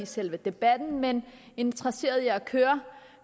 selve debatten men interesseret i at køre